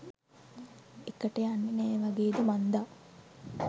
එකට යන්නෙ නෑ වගේද මංදා.